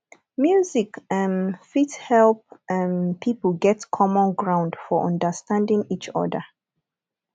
music um fit help um pipo get common ground for understanding each other